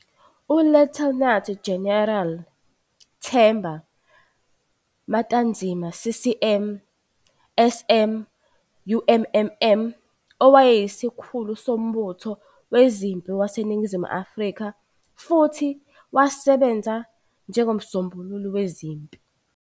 ULieutenant General Themba Matanzima CCM SM UMMM wayeyisikhulu sombutho wezempi waseNingizimu Afrika, futhi wasebenza njengoMsombululi Wezempi.